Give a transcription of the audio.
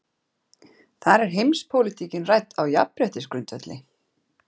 Þar er heimspólitíkin rædd á jafnréttisgrundvelli.